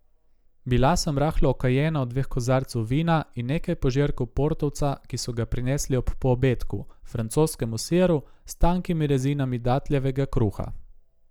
Bila sem rahlo okajena od dveh kozarcev vina in nekaj požirkov portovca, ki so ga prinesli ob poobedku, francoskem siru s tankimi rezinami datljevega kruha.